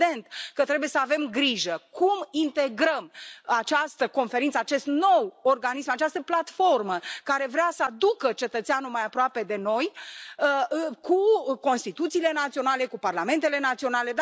Evident că trebuie să avem grijă cum integrăm această conferință, acest nou organism, această platformă care vrea să aducă cetățeanul mai aproape de noi cu constituțiile naționale, cu parlamentele naționale.